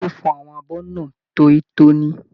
Ìkẹ́ fọ àwọn abọ náà toíitoní.